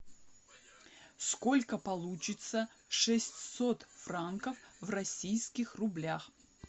сколько получится шестьсот франков в российских рублях